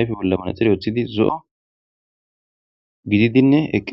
ayffe bolla manaxire woththidi zo'o giddidine eqqidessi.